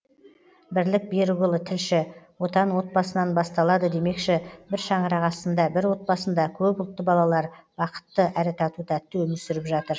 бірлік берікұлы тілші отан отбасыдан басталады демекші бір шаңырақ астында бір отбасында көпұлтты балалар бақытты әрі тату тәтті өмір сүріп жатыр